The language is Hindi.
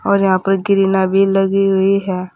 और यहां पर ग्रीना भी लगी हुई है।